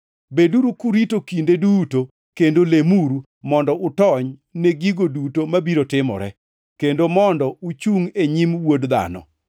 Beduru kurito kinde duto, kendo lemuru mondo utony ne gigo duto mabiro timore, kendo mondo uchungʼ e nyim Wuod Dhano.”